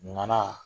Nana